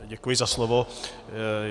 Děkuji za slovo.